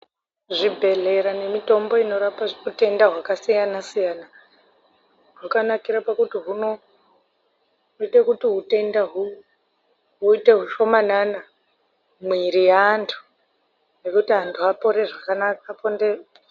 Zvibhedhleya nemitombo inorapa hutenda hwakasiyana siyana hwakanakire pakuti hunoite kuti utenda huite hushomanana mwiri yeantu ngekuti antu apore zvakanaka.